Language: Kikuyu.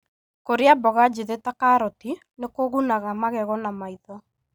Kũrĩa mboga njithĩ ta karoti nĩ kũgunaga magego na maitho.